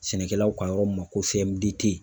Sɛnɛkɛlaw ka yɔrɔ ma ko